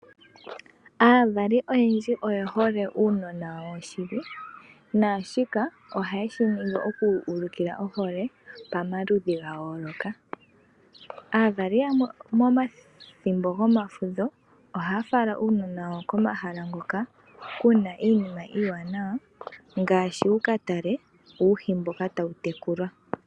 Aavali oyendji oyehole uunona wawo shili naashika oha ye shiningi okuulika ohole yawo pama ludhi ga yooloka. Aavali yamwe momathimbo gomafudho , ohaya fala uunona wawo komahala ngoka kuna iinimma iiwaanawa ngaashi wukatale uuhi mboka tawu tekulwa.